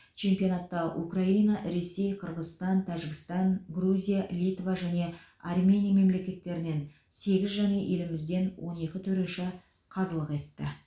чемпионатта украина ресей қырғызстан тәжікстан грузия литва және армения мемлекеттерінен сегіз және елімізден он екі төреші қазылық етті